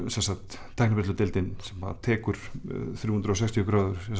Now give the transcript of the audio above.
sem sagt sem tekur þrjú hundruð og sextíu gráður